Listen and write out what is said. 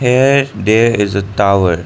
a there is a tower.